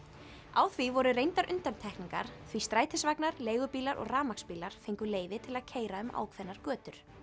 á því voru reyndar undantekningar því strætisvagnar leigubílar og rafmagnsbílar fengu leyfi til að keyra um ákveðnar götur